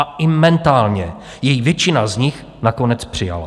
A i mentálně jej většina z nich nakonec přijala.